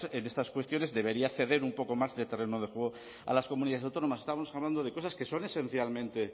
en estas cuestiones debería ceder un poco más de terreno de juego a las comunidades autónomas estamos hablando de cosas que son esencialmente